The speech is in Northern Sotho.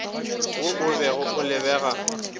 wo o be o lebega